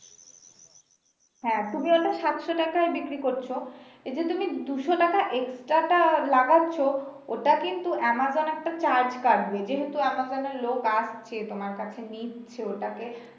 হ্যা তুমি ওটা সাতশ টাকায় বিক্রি করছো এতে তুমি দুশ টাকা extra টা লাগাচ্ছো ওটা কিন্তু Amazon একটা charge কাটবে যেহেতু Amazon এর লোক আসছে তোমার কাছে নিচ্ছে ওটাকে।